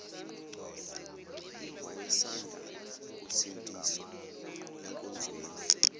wayesanda kusindiswa enkonzweni